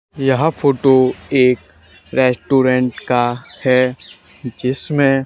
यह फोटो एक रेस्टुरेंट का है जिसमें--